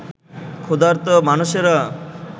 ক্ষুধার্ত মানুষেরা